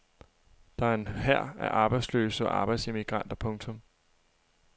Der er en hær af arbejdsløse og arbejdsemigranter. punktum